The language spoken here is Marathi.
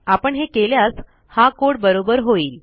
आपण हे केल्यास हा codeबरोबर होईल